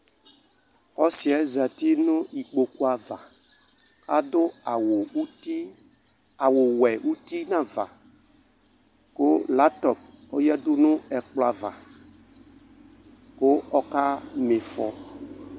Ɔsɩyɛ zatɩ nʊ ɩkpokʊ ava adʊ awʊwɛ ʊtɩ nu ava kʊ ɛkukpivli yanʊ ɛkplɔ ava kʊ ɔka mɩfɔ